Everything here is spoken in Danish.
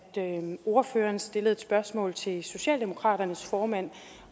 ordføreren stillede et spørgsmål til socialdemokratiets formand